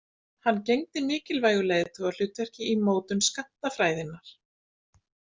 Hann gegndi mikilvægu leiðtogahlutverki í mótun skammtafræðinnar.